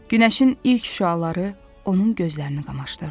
Günəşin ilk şüaları onun gözlərini qamaşdırdı.